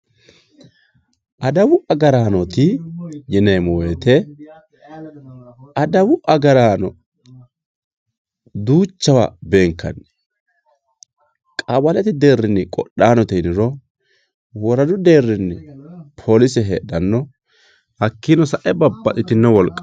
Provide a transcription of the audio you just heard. Adawu agaranoti yineemo woyite adawu agarano duuchawa beenkani qawalete derini qodhanote yiniro woradu deerini polise hedhano hakiino sa`e babaxitino wolqa.